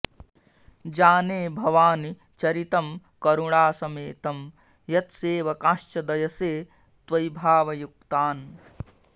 जाने भवानि चरितं करुणासमेतं यत्सेवकांश्च दयसे त्वयि भावयुक्तान्